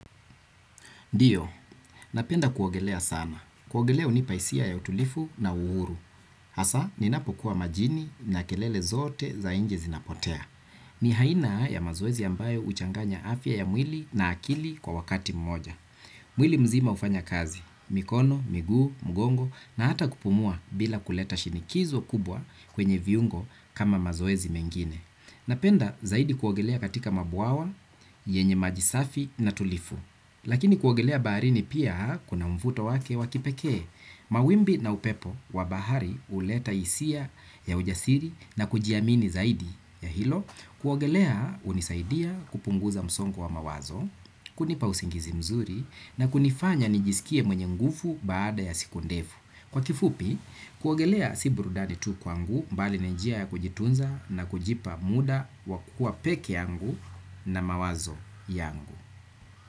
Ndiyo, napenda kuogelea sana. Kuogelea hunipa hisia ya utulivu na uhuru. Hasa, ninapokuwa majini na kelele zote za nje zinapotea. Ni aina ya mazoezi ambayo huchanganya afya ya mwili na akili kwa wakati mmoja. Mwili mzima ufanya kazi. Mikono, miguu, mgongo, na hata kupumua bila kuleta shinikizo kubwa kwenye viungo kama mazoezi mengine. Napenda zaidi kuwagelea katika mabuawa, yenye majisafi na tulifu. Lakini kuogelea baharini pia kuna mvuto wake wa kipekee. Mawimbi na upepo wa bahari huleta hisia ya ujasiri na kujiamini zaidi ya hilo. Kuogelea hunisaidia kupunguza msongo wa mawazo, kunipa usingizi mzuri na kunifanya nijisikie mwenye nguvu baada ya siku ndefu. Kwa kifupi, kuogelea si burudani tu kwangu bali ni njia ya kujitunza na kujipa muda wa kuwa peke yangu na mawazo yangu.